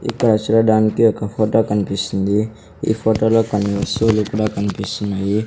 ఇక్కడ చూడడానికి ఒక ఫోటో కన్పిస్తుంది ఈ ఫోటోలో కొన్ని వస్తువులు కూడా కన్పిస్తున్నాయి.